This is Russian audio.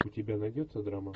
у тебя найдется драма